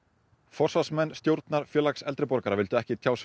forsvarsmenn stjórnar vildu ekki tjá sig